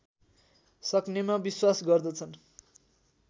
सक्नेमा विश्वास गर्दछन